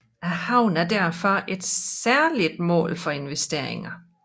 Havnen er derfor et særligt mål for investeringer